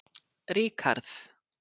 Ríkharð